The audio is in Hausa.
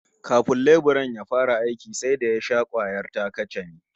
Kafin leburan ya fara aikin sai da ya sha kwayar ta-kacame